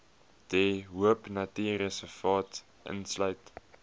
de hoopnatuurreservaat insluit